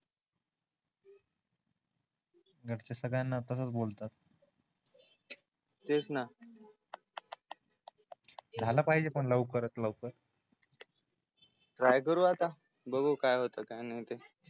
घरचे सगळ्यांना तसच बोलतात तेच न झाल पाहिजे पण लवकरात लवकर बघू काय होते काय तर